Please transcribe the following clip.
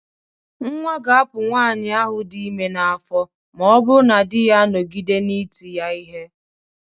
Nnwa ga-apụ nwaanyị ahụ dị ime n'afọ ma ọ bụrụ na di ya anọgide na ị ti ya ihe.